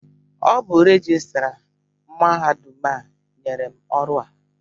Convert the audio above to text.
Ọ bụ rejistra mahadum a nyere m ọrụ a.